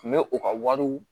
Kun bɛ u ka wariw